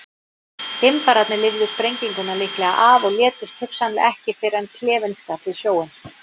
Geimfararnir lifðu sprenginguna líklega af og létust hugsanlega ekki fyrr en klefinn skall í sjóinn.